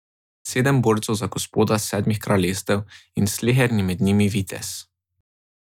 Sedem borcev za gospoda Sedmih kraljestev in sleherni med njimi vitez.